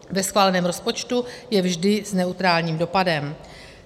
Ve schváleném rozpočtu je vždy s neutrálním dopadem.